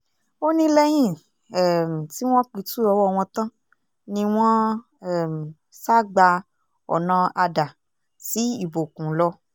ó ní lẹ́yìn um tí wọ́n pitú ọwọ́ wọn tán ni wọ́n um sá gba ọ̀nà adà sí ìbòkùn lọ